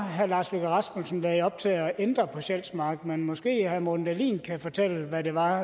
herre lars løkke rasmussen lagde op til at ændre på sjælsmark men måske herre morten dahlin kan fortælle hvad det var